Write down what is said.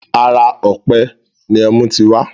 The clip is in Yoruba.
Ara ọ̀pẹ ni ẹmú ti wá